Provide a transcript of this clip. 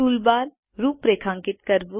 toolbar રૂપરેખાંકિત કરવું